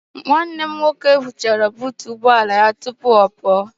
Nwanne m nwoke hichara buutu ụgbọala ya tupu ọ pụọ.